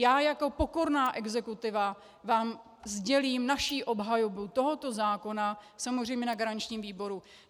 Já jako pokorná exekutiva vám sdělím naši obhajobu tohoto zákona, samozřejmě na garančním výboru.